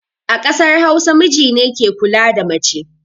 A ƙasar hausa, mijine ke kula da mace